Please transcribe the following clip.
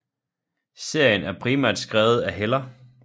Serien er primært skrevet af Heller